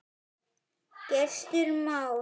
Gestur Már.